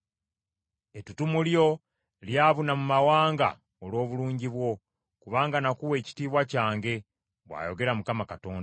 Ettutumu lyo lyabuna mu mawanga olw’obulungi bwo, kubanga nakuwa ekitiibwa kyange, bw’ayogera Mukama Katonda.